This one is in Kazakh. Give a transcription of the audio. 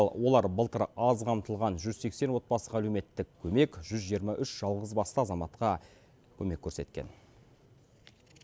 олар былтыр аз қамтылған жүз сексен отбасыға әлеуметтік көмек жүз жиырма үш жалғызбасты азаматқа көмек көрсеткен